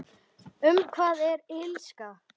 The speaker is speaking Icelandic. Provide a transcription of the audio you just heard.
Um hvað er Illska?